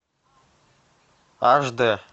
аш дэ